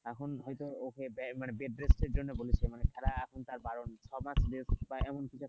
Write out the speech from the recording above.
এখন হয়তো ওকে bed rest এর জন্য বলেছে মানে খেলা এখন তার বারন ছ মাস,